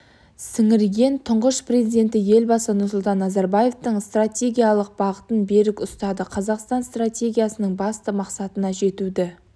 сіңірген тұңғыш президенті елбасы нұрсұлтан назарбаевтың стратегиялық бағытын берік ұстанды қазақстан стратегиясының басты мақсатына жетуді